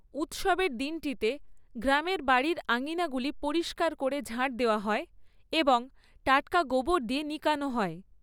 উৎসবের দিনটিতে, গ্রামের বাড়ির আঙিনাগুলি পরিষ্কার করে ঝাঁট দেওয়া হয় এবং টাটকা গোবর দিয়ে নিকানো হয়।